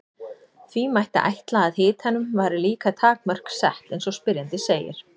því mætti ætla að hitanum væri líka takmörk sett eins og spyrjandi segir